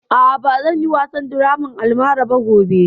A'a, ba zan yi wasan draman almara ba gobe